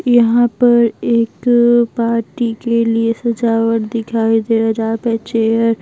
यहां पर एक पार्टी के लिए सजावट दिखाई दे रहाजहां पे चेयर --